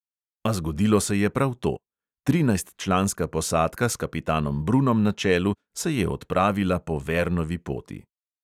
A zgodilo se je prav to: trinajstčlanska posadka s kapitanom brunom na čelu se je odpravila po vernovi poti.